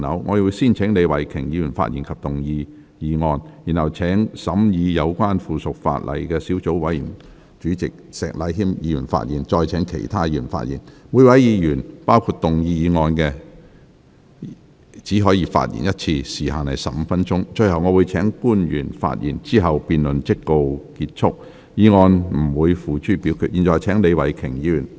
我會先請李慧琼議員發言及動議議案，然後請審議有關附屬法例的小組委員會主席石禮謙議員發言，再請其他議員發言。每位議員只可發言一次，時限為15分鐘。最後我會請官員發言，之後辯論即告結束，議案不會付諸表決。